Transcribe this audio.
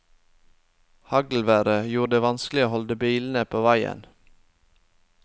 Haglværet gjorde det vanskelig å holde bilene på veien.